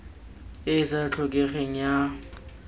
e e sa tlhokegeng ya